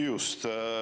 Just.